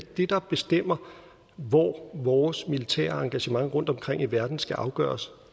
det der bestemmer hvor vores militære engagement rundtomkring i verden skal afgøres